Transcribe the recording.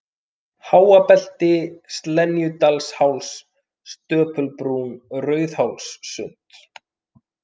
Háabelti, Slenjudalsháls, Stöpulbrún, Rauðhólssund